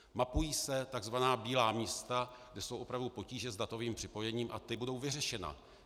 Mapují se tzv. bílá místa, kde jsou opravdu potíže s datovým připojením, a ta budou vyřešena.